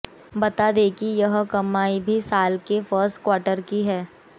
बता दें कि यह कमाई भी साल के फर्स्ट क्वार्टर की है